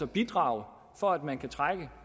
bidrage for at man kan trække